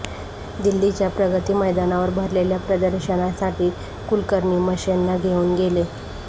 दिल्लीच्या प्रगती मैदानावर भरलेल्या प्रदर्शनासाठी कुळकर्णी मशेंना घेऊन गेले